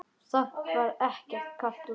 Samt var ekkert kalt úti.